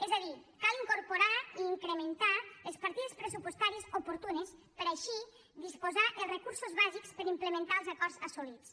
és a dir cal incorporar i incrementar les partides pressupostàries oportunes per així disposar dels recursos bàsics per implementar els acords assolits